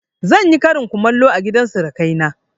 Zan yi karin kumallo a gidan surukai na